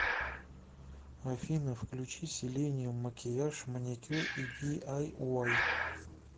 афина включи селениюм макияж маникюр и ди ай уай